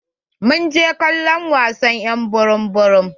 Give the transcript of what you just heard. Mun je kallon wasan y'an burum-burum.